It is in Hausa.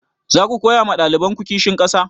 Zaku koya ma ɗalibanku kishin ƙasa?